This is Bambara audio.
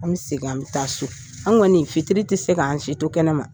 An bɛ segin an bɛ taa so an kɔni fitiri tɛ se k'an si to kɛnɛma.